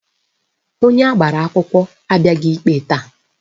Onye agbara akwụkwọ abịaghị ikpe taa